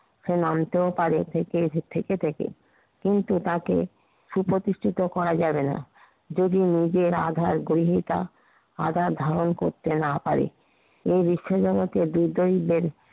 সে নামতেও পারে হেটে হেটে থেকে থেকে কিন্তু তাকে সুপ্রতিষ্ঠিত করা যাবে না। যদি নিজের আধার গ্রহিতা আধার ধারণ করতে না পারে। এ বিশ্বজগতে বিজয়ীদের